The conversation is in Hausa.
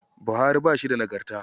Bauhari bashi da Nagarta.